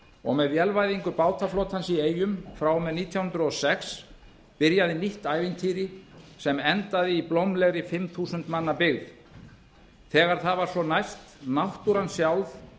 og með vélvæðingu bátaflotans í eyjum frá og með nítján hundruð og sex byrjaði nýtt ævintýri sem endaði í blómlegri fimm þúsund manna byggð þegar það var svo næst náttúran sjálf